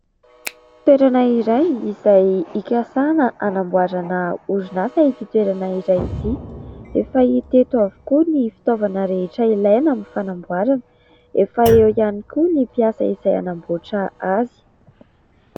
Toerana iray izay ikasana anamboarana orinasa ity toerana iray ity. Efa hita eto avokoa ny fitaovana rehetra ilaina amin'ny fanamboarana. Efa eo ihany koa ny mpiasa izay anamboatra azy.